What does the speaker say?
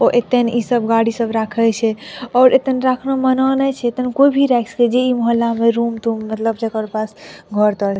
ओ एतन ई सब गाड़ी सब राखई छे और एतन राख मना नै छे त कोई भी राख सके जे ई मोहल्ला में रूम तुम मतलब जेकर पास घर तर --